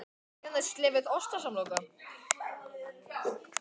Mörður á sæti í nefndinni